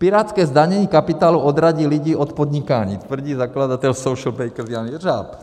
Pirátské zdanění kapitálu odradí lidi od podnikání - tvrdí zakladatel Socialbakers Jan Řežáb.